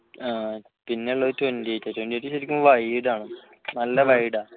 പിന്നെയുള്ളത് twenty eight ആണ് twenty eight ശരിക്കും wide ആണ് നല്ല wide ആണ്